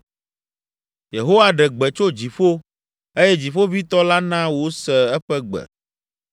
Yehowa ɖe gbe tso dziƒo; eye Dziƒoʋĩtɔ la na wose eƒe gbe.